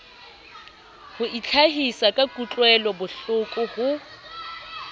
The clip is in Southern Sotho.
ho itlhahisa ka kutlwelobohloko ho